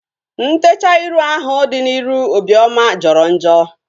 Ntechaa ịrụ ahu dị n'iru Obioma jọrọ njọ